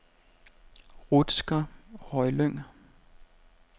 Rutsker Højlyng